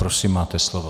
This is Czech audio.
Prosím, máte slovo.